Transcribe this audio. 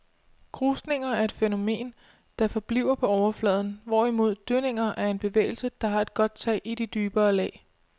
Krusninger er et fænomen, der forbliver på overfladen, hvorimod dønninger er en bevægelse, der har godt tag i de dybere lag.